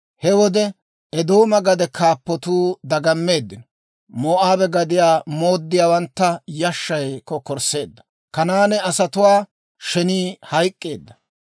He wode Eedooma gade kaappatuu dagameeddino. Moo'aabe gadiyaa mooddiyaawantta yashshay kokkorsseedda. Kanaane asatuwaa shenii hayk'k'eedda.